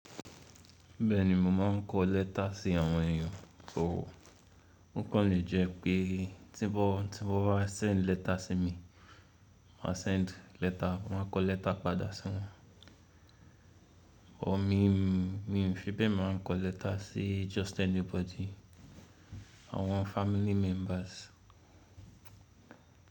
Bẹ́ẹ̀ni, mo máa ń kọ lẹ́tà sí àwọn èyàn tó wò. Ó kàn lè jẹ́ pé tí bó tí bó bá sẹ̀ńd lẹ́tà sí mi, mà sẹ̀ńd lẹ́tà, mà kọ lẹ́tà padà sí wọn. Ọ̀ mi, mi ò fi bẹ́ẹ̀ máa ń kọ lẹ́tà sí just anybody, àwọn family members.